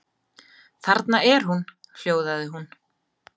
Þarna er hún, hljóðaði hún.